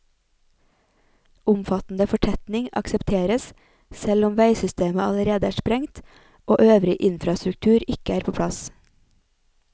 Omfattende fortetning aksepteres selv om veisystemet allerede er sprengt og øvrig infrastruktur ikke er på plass.